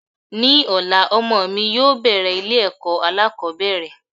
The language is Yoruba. Ní ọ̀la, ọmọ mi yóò bẹ̀rẹ̀ ilé ẹ̀kọ́ alákòbẹ̀rẹ̀.